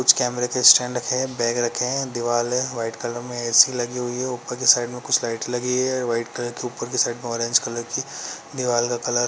कुछ कैमरे के स्टैंड रखे है बैग रखे हैं। दीवार है व्हाइट कलर में ऐ_सी लगी हुई है। ऊपर की साइड में कुछ लाइट्स लगी है व्हाइट कलर की ऊपर की साइड ऑरेंज कलर की दीवार का कलर --